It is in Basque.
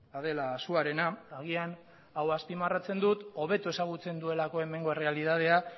adela asúarena agian hau azpimarratzen dut hobeto ezagutzen duelako hemengo errealitatea